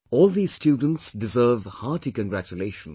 All these students deserve hearty congratulations